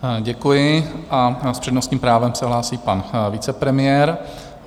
Děkuji a s přednostním právem se hlásí pan vicepremiér.